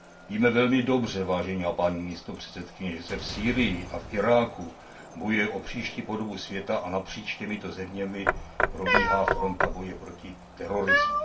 Víme velmi dobře, vážená paní místopředsedkyně, že se v Sýrii a v Iráku bojuje o příští podobu světa a napříč těmito zeměmi probíhá fronta boje proti terorismu.